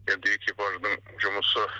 енді экипаждың жұмысы